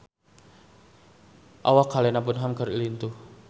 Awak Helena Bonham Carter lintuh